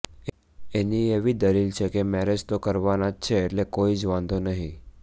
એની એવી દલીલ છે કે મેરેજ તો કરવાના જ છે એટલે કોઈ જ વાંધો નહીં